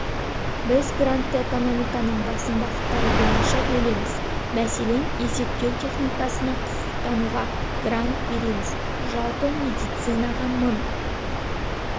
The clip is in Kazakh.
біз грантты экономиканың басым бағыттары бойынша бөлеміз мәселен есептеу техникасына құқықтануға грант береміз жалпы медицинаға мың